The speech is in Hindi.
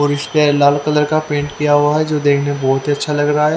और इसपे लाल कलर का पेंट किया हुआ है जो देखने बहुत ही अच्छा लग रहा है।